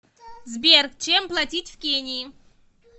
сбер чем платить в кении